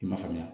I m'a faamuya